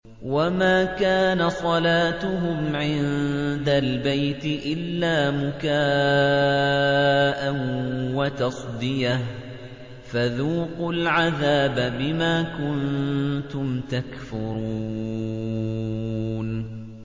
وَمَا كَانَ صَلَاتُهُمْ عِندَ الْبَيْتِ إِلَّا مُكَاءً وَتَصْدِيَةً ۚ فَذُوقُوا الْعَذَابَ بِمَا كُنتُمْ تَكْفُرُونَ